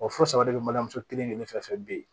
Wa fo saba de bɛ mali muso kelen kelen fɛn fɛn fɛ bi